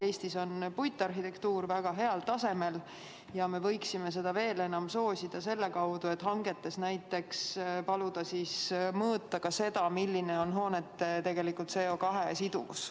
Eestis on puitarhitektuur väga heal tasemel ja me võiksime seda veel enam soosida selle kaudu, et paluksime näiteks hangetes mõõta ka hoonete CO2 siduvust.